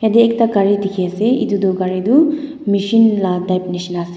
yate ekta gari dikhi ase etu tu gari tu michin lah type nisna ase.